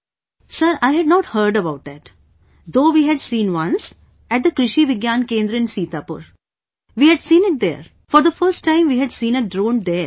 Sir, I had not heard about that... though we had seen once, at the Krishi Vigyan Kendra in Sitapur... we had seen it there... for the first time we had seen a drone there